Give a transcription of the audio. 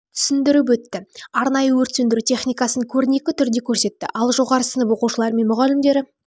түсіндіріп өтті арнайы өрт сөндіру техникасын көрнекі түрде көрсетті ал жоғары сынып оқушылары мен мұғалімдері